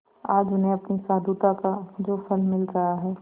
आज उन्हें अपनी साधुता का जो फल मिल रहा है